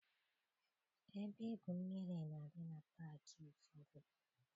Ebe igwu mmiri na-adị na paakị ụfọdụ.